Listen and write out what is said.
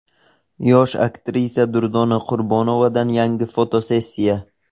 Yosh aktrisa Durdona Qurbonovadan yangi fotosessiya.